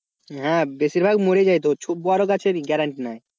হ্যাঁ বেশিরভাগ মরে যায় তো বড় গাছের guarranty নাই।